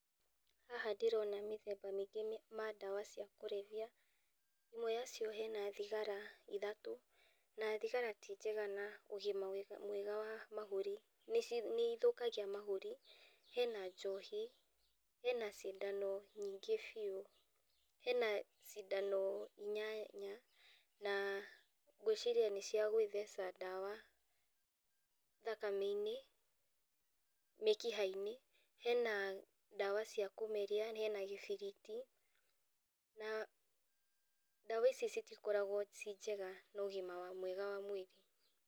Haha ndĩrona mĩthemba mĩingĩ mĩ, ma ndawa cia kũrebia, ĩmwe yacio hena thigara ithatũ, na thigara ti njega na ũgima wega, mwega wa mahũri, nĩ ithũkagia mahũri, hena njohi, hena cindano nyingĩ biũ, hena cindano inyanya na ngwĩciria nĩciagwĩtheca ndawa thakame-inĩ, mĩkiha-inĩ, hena ndawa cia kũmeria, hena gĩbiriti, na ndawa ici citikoragwo ciĩ njega na ũgima wa, mwega wa mwĩrĩ.